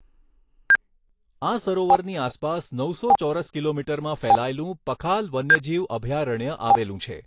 આ સરોવરની આસપાસ નવસો ચોરસ કિલોમીટરમાં ફેલાયેલું પખાલ વન્યજીવ અભયારણ્ય આવેલું છે.